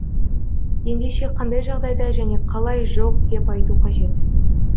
ендеше қандай жағдайда және қалай жоқ деп айту қажет